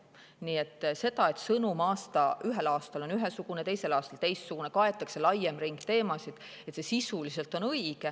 Nii et see, et sõnum ühel aastal on ühesugune, teisel aastal teistsugune, kaetakse laiem ring teemasid, on sisuliselt õige.